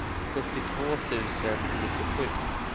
sjuttiotvå tusen nittiosju